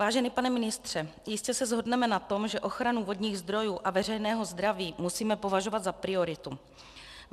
Vážený pane ministře, jistě se shodneme na tom, že ochranu vodních zdrojů a veřejného zdraví musíme považovat za prioritu.